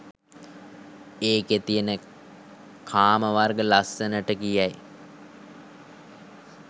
එකේ තියෙන කාම වර්ග ලස්සනට කියයි.